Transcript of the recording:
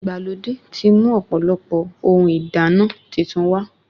Ìgbàlódé ti mú ọ̀pọ̀lọpọ̀ ohun ìdáná titun wá